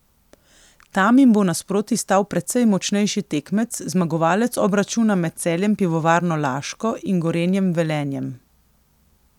Tam jim bo nasproti stal precej močnejši tekmec, zmagovalec obračuna med Celjem Pivovarno Laško in Gorenjem Velenjem.